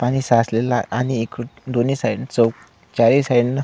पाणी साचलेल आहे आणि एक दोन्ही साईड चौ चारही साइडन --